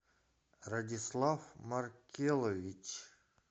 радислав маркелович